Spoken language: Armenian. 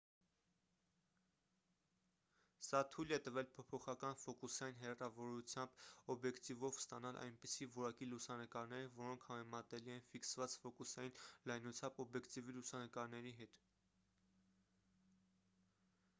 սա թույլ է տվել փոփոխական ֆոկուսային հեռավորությամբ օբյեկտիվով ստանալ այնպիսի որակի լուսանկարներ որոնք համեմատելի են ֆիքսված ֆոկուսային լայնությամբ օբյեկտիվի լուսանկարների հետ